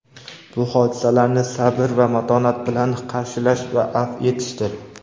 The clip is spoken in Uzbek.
bu hodisalarni sabr va matonat bilan qarshilash va afv etishdir.